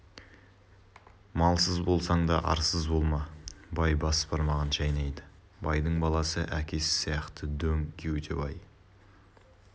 малсыз болсаң да арсыз болма бай бас бармағын шайнайды байдың баласы әкесі сияқты дөң кеуде бай